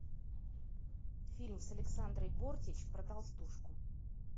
фильм с александрой бортич про толстушку